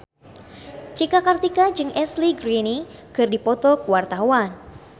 Cika Kartika jeung Ashley Greene keur dipoto ku wartawan